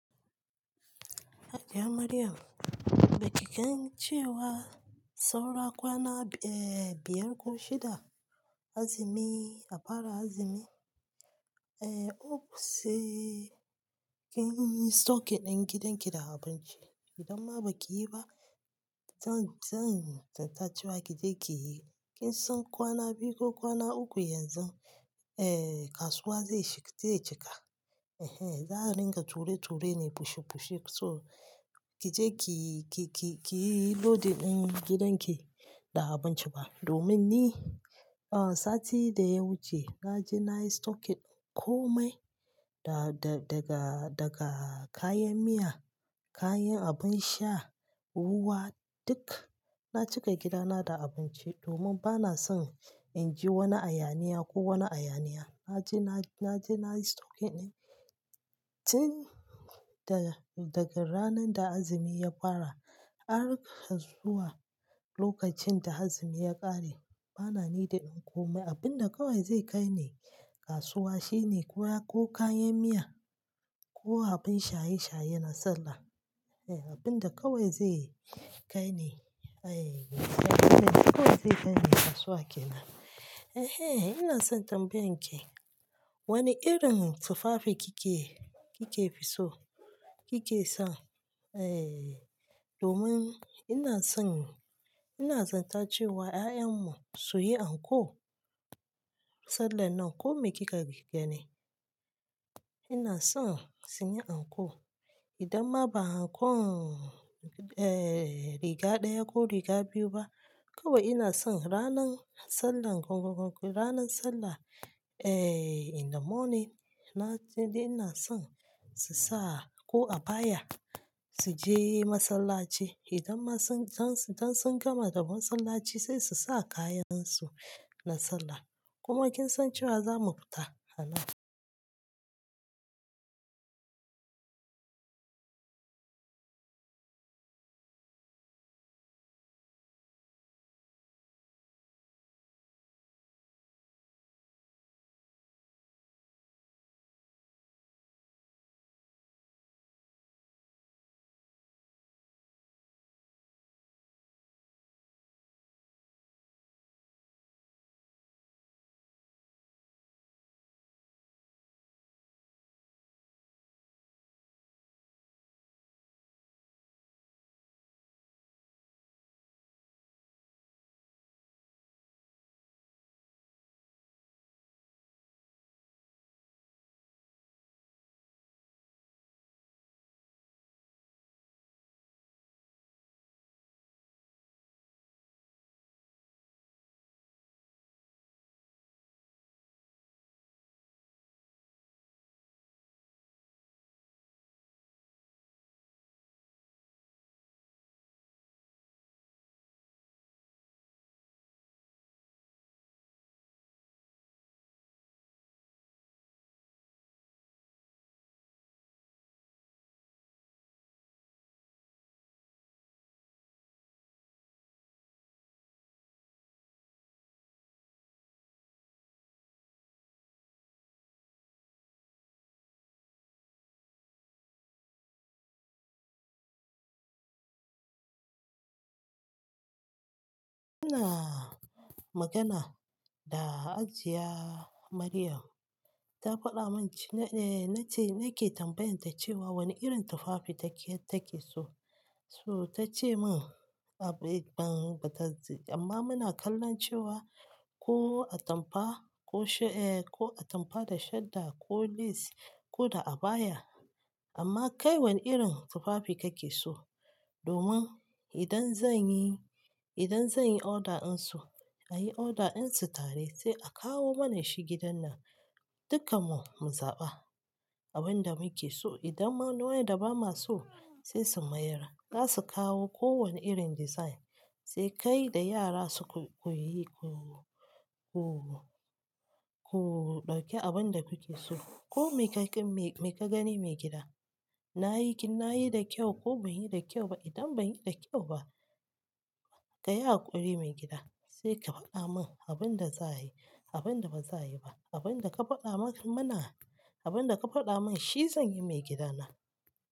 Hajiya Maryam, ba ki gan cewa saura kwana b-- eh biyar ko shida azumi a fara azumi? Eh, hope sai kin yi stock ɗin gidanki da abinci. Idan ma ba ki yi ba, zan, zan tantan cewa ki je ki yi. Kin san kwana biyu ko kwana uku yanzu, eh kasuwa zai shiga, zai cika. Ehen, za a rinka ture-ture ne, pushe-pushe. So ki je ki, ki, ki, ki yi loading ɗin gidanki da abinci ba. Domin ni, ah sati da ya wuce na je na yi stockin ɗin komai, da da daga, daga kayan miya, kayan abun sha, ruwa duk. Na cika gidana da abunci domin ba na son in ji wani ayaniya ko wani ayaniya. Na je na, na je na yi stock ɗin. Tin da daga ranan da azumi ya fara har zuwa lokacin da azumi ya ƙare, ba na needin in komai. Abin da kawai zai kai ne kasuwa shine ko kayan miya ko abin shaye-shaye na Sallah. Ehen, abin da kawai zai kai eh. Ai kawai zai kai ni kasuwa kenan. Ehen, ina son tambayan ki. Wane irin tufafi kike, kike fi so? Kike so? Eh, domin ina son, ina zantace wa 'ya'yan mu su yi anko Sallah nan. Ko me kika ri-- gani? Ina son su yi anko. Idan ma ba ankon eh riga ɗaya ko riga biyu ba, kawai ina son ranan Sallah gogogo, ranan Sallah eh in the morning, na sai dai ina son su sa ko abaya su je masallaci. Idan ma sun, dan su-- dan sun gama da masallaci sai su sa kayansu na Sallah. Kuma kin san cewa za mu fita annan- Muna magana da Hajiya Maryam, ta faɗa mum c-- eh nace nake tambayanta cewa wane irin tufafi take, take so. To ta ce min, a bai ban ba ta ji. Amma muna kallon cewa ko atampa ko sha eh ko atampa da shadda ko lace ko da abaya. Amma kai wane irin tufafi kake so? Domin idan zan yi, idan zan yi order ɗin su, ayi order ɗin su tare sai a kawo mana shi gidan nan, dukanmu mu zaɓa abin da muke so. Idan ma nawayanda ba maso, sai su mayar. Za su kawo kowane irin design, sai kai da yara su ku ku yi, ku, ku ɗauki abun da kuke so. Ko me kaika, me ka gani maigida. Na yi kin, na yi da kyau ko ban yi da kyau ba. Idan ban yi da kyau ba, ka yi haƙuri mai gida. Sai ka faɗa min abin da za a yi, abin da ba za a yi ba. Abin da ka faɗa mana, abin da ka faɗa min shi zan yi mai gidana.